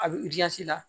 A bɛ la